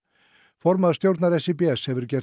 formaður stjórnar SÍBS hefur gert